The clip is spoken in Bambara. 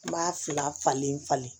N b'a fila falen falen